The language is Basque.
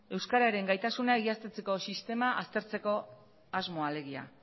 euskararen gaitasuna egiaztatzeko sistema aztertzeko asmoa alegia